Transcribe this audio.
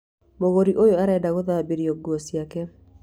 Mũgũri ũyũ arenda gũthambĩrio nguo ciake.